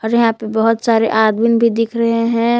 यहां पे बहुत सारे आदमीन भी दिख रहे हैं।